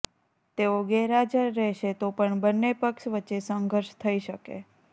તેઓ ગેરહાજર રહેશે તો પણ બંને પક્ષ વચ્ચે સંઘર્ષ થઈ શકે